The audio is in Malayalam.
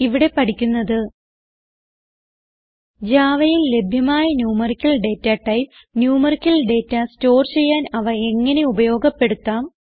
ഇവിടെ പഠിക്കുന്നത് Javaയിൽ ലഭ്യമായ numerical data types numerical data store ചെയ്യാൻ അവ എങ്ങനെ ഉപയോഗപ്പെടുത്താം